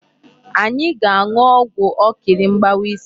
Anyị ga-aṅụọgwụ ọkịrị mgbawa isi.